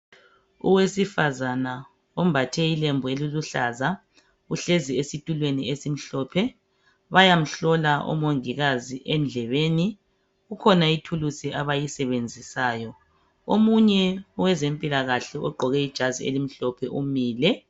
Owesifazana ombathe ilembu eliluhlaza uhlezi esitulweni esimhlophe bayamhlola omongikazi endlebeni kukhona ithulusi abayisebenzisayo omunye wezempilakahle ogqqoke ijazi elimhlophe umile.